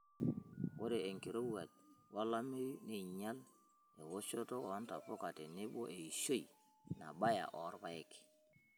Ore enkirowuaj wolameyu neinyial eoshoto oo ntapuka tenebo eishioi nabayie orpaek.